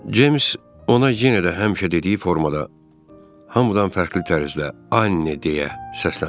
Ceyms ona yenə də həmişə dediyi formada hamıdan fərqli tərzdə Anne deyə səslənmişdi.